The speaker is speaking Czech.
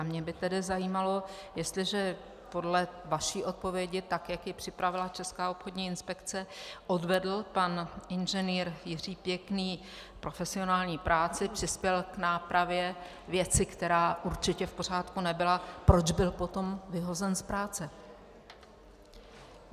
A mě by tedy zajímalo, jestliže podle vaší odpovědi, tak jak ji připravila Česká obchodní inspekce, odvedl pan inženýr Jiří Pěkný profesionální práci, přispěl k nápravě věci, která určitě v pořádku nebyla - proč byl potom vyhozen z práce?